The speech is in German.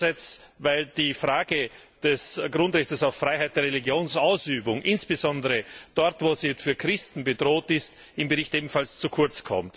Andererseits kommt die Frage des Grundrechts auf Freiheit der Religionsausübung insbesondere dort, wo sie für Christen bedroht ist, im Bericht ebenfalls zu kurz.